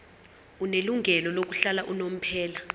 onelungelo lokuhlala unomphela